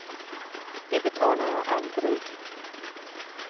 Det betalar jag aldrig!